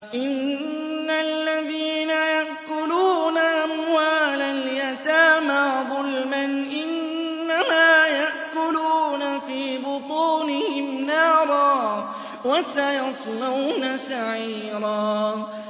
إِنَّ الَّذِينَ يَأْكُلُونَ أَمْوَالَ الْيَتَامَىٰ ظُلْمًا إِنَّمَا يَأْكُلُونَ فِي بُطُونِهِمْ نَارًا ۖ وَسَيَصْلَوْنَ سَعِيرًا